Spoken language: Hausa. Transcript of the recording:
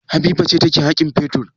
Habiba ce take haƙin fetur.